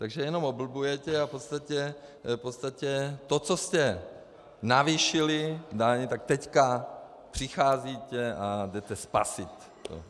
Takže jenom oblbujete a v podstatě to, co jste navýšili daň, tak teď přicházíte a jdete spasit.